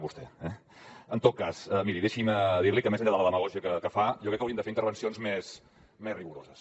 el terme tot cas miri deixi’m dir li que més enllà de la demagògia que fa jo crec que haurien de fer intervencions més rigoroses